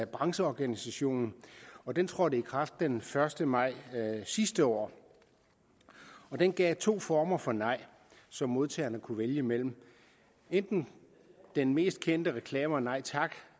brancheorganisationen og den trådte i kraft den første maj sidste år den gav to former for nej som modtagerne kunne vælge imellem enten den mest kendte reklamer nej tak